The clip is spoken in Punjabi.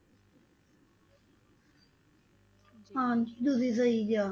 ਹਾਂਜੀ ਤੁਸੀਂ ਸਹੀ ਕਿਹਾ।